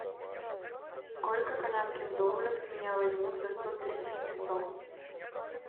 сколько канадских долларов с меня возьмут за сто тридцать песо